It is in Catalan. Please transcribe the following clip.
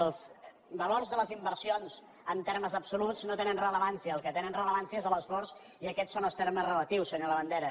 els valors de les inversions en termes absoluts no tenen rellevància el que té rellevància és l’esforç i aquests són els termes relatius senyor la·bandera